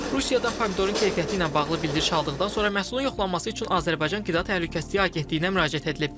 Rusiyada pomidorun keyfiyyəti ilə bağlı bildiriş aldıqdan sonra məhsulun yoxlanılması üçün Azərbaycan qida təhlükəsizliyi agentliyinə müraciət edilib.